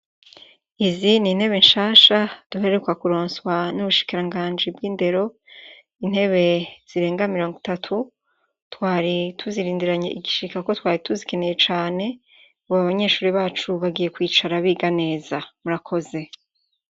Izi nintebe nshasha duheruka kuronswa nubushikiranganji bwindero intebe zirenga mirongo itatu twari tuzirindiranye igishika kuko twari tuzikeneye cane ubu abanyeshure bacu bagiye kwicara biga neza murakoze